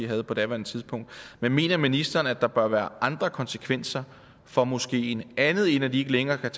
havde på daværende tidspunkt men mener ministeren at der bør være andre konsekvenser for moskeen andet end at de ikke længere kan